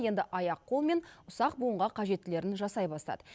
енді аяқ қол мен ұсақ буынға қажеттілерін жасай бастады